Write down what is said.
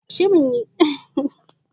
Kaji sukan karkada fuka-fukai su domin tsabtar jiki.